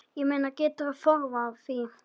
Ég meina, geturðu forðað því?